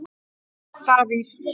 Davíð